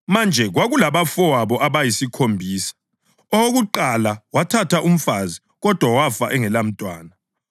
Manje kwakulabafowabo abayisikhombisa. Owokuqala wathatha umfazi kodwa wafa engelamntwana.